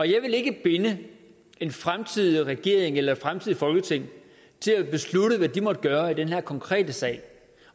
jeg vil ikke binde en fremtidig regering eller et fremtidigt folketing til at beslutte hvad de måtte gøre i den her konkrete sag